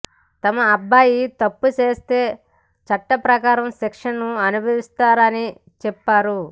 తమ అబ్బాయి తప్పు చేస్తే చట్టప్రకారం శిక్షను అనుభవిస్తారని చెప్పారు